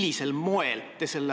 Aitäh!